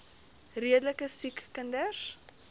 redelike siek kinders